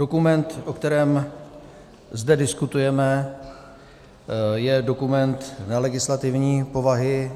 Dokument, o kterém zde diskutujeme, je dokument nelegislativní povahy.